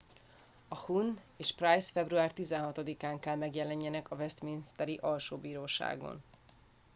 a huhne és pryce február 16 án kell megjelenjenek a westminsteri alsóbíróságon